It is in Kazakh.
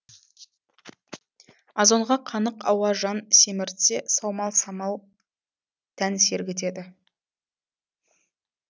азонға қанық ауа жан семіртсе саумал самал тән сергітеді